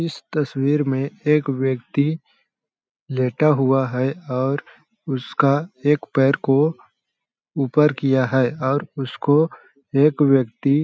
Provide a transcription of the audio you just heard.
इस तस्वीर में एक व्यक्ति लेटा हुआ है और उसका एक पैर को ऊपर किया है और उसको एक व्यक्ति--